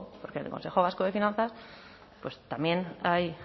porque en el consejo vasco de finanzas también hay